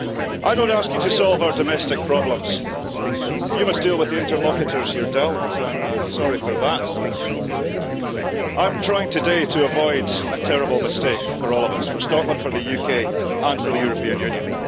I don't ask you to solve our domestic problems you must deal with the interlocutors you're dealt, I'm sorry for that I'm trying today to avoid a terrible mistake for all of us, for Scotland, for the UK and for the European Union.